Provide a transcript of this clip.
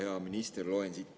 Hea minister!